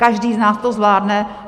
Každý z nás to zvládne.